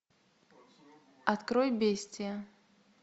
открой бестия